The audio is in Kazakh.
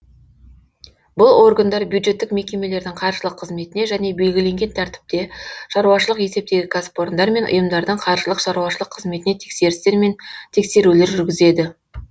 бұл органдар бюджеттік мекемелердің қаржылық қызметіне және белгіленген тәртіпте шаруашылық есептегі кәсіпорындар мен ұйымдардың қаржылық шаруашылық қызметіне тексерістер мен тексерулер жүргізеді